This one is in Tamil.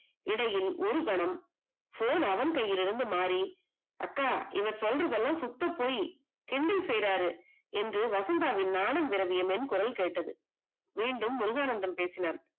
இடையில் ஒருகணம் phone அவன் கையில் இருந்து மாறி அப்பா இவங்க சொல்றது எல்லா சுத்தபோய் கிண்டல் செய்றாரு என்று திரவியமின் குரல் கேட்டது, மீண்டும் முருகானந்தம் பேசினார்.